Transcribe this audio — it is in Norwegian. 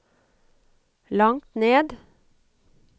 langt ned